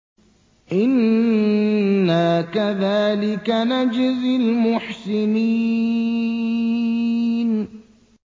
إِنَّا كَذَٰلِكَ نَجْزِي الْمُحْسِنِينَ